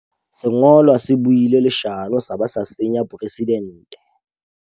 Sengolwa se buile leshano sa ba sa senya poresidente.